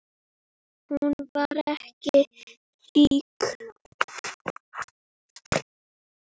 Hún var það líka.